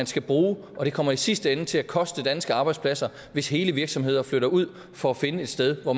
skal bruge det kommer i sidste ende til at koste danske arbejdspladser hvis hele virksomheder flytter ud for at finde et sted hvor